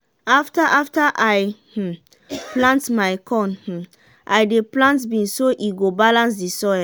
after after i um harvest my corn um i dey plant beans so e go balance de soil.